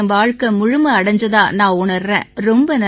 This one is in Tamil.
என் வாழ்க்கை முழுமை அடைஞ்சதா நான் உணர்றேன்